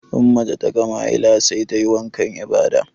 In mace ta gama haila sai tayi wankan ibada